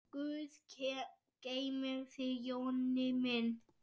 Guð geymi þig, Jonni minn.